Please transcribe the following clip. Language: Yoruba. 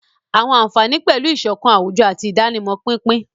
Àwọn àfààní pẹ̀lú ìṣọ̀kan àwùjọ àti ìdánimọ̀ pínpín.